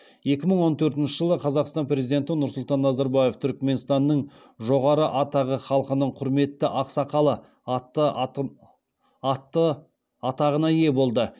екі мың он төртінші жылы қазақстан президенті нұрсұлтан назарбаев түрікменстанның жоғары атағы халқының құрметті ақсақалы атты атағына ие болды